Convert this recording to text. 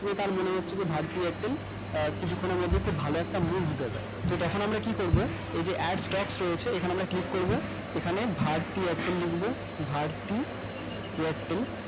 নিয়ে তার মনে হচ্ছিলো ভারতী airtel কিছুক্ষণের মধ্যে খুব ভালো একটা তো তখন আমরা কি করবো ঐইযে addstock রয়েছে এখানে আমরা click করবো এখানে ভারতী airtel লিখবো ভারতী airtel